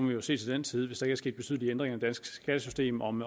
vi jo se til den tid hvis er sket betydelige ændringer danske skattesystem om